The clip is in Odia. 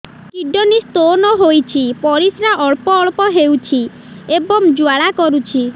କିଡ଼ନୀ ସ୍ତୋନ ହୋଇଛି ପରିସ୍ରା ଅଳ୍ପ ଅଳ୍ପ ହେଉଛି ଏବଂ ଜ୍ୱାଳା କରୁଛି